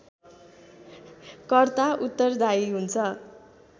कर्ता उत्तरदायी हुन्छ